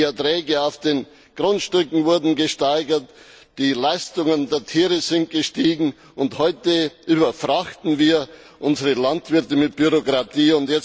Die Erträge auf den Grundstücken wurden gesteigert, die Leistungen der Tiere sind gestiegen, und heute überfrachten wir unsere Landwirte mit Bürokratie.